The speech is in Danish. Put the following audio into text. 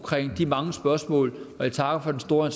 de mange spørgsmål og jeg takker for den store